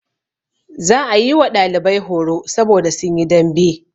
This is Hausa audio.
Za a yi wa ɗalibai horo saboda sun yi dambe.